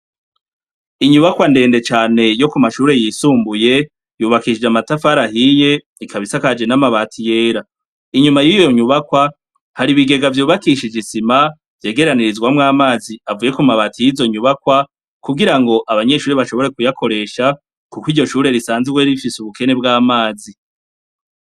Inyubakwa ndende cane yo ku mashure yisumbuye yubakishije amatafari ahiye ikaba isakaje n'amabati yera, inyuma y'iyo nyubakwa hari ibigega vyubakishije isima vyegeranirizwamwo amazi avuye ku mabati y'izo nyubakwa kugira ngo abanyeshuri bashobore kuyakoresha, kuko iryo shure risanzwe rifise ubukene bw'amazi.